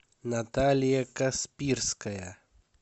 наталья каспирская